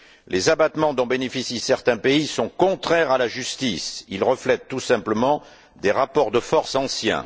Les abattements dont bénéficient certains pays sont contraires à la justice. Ils reflètent tout simplement des rapports de force anciens.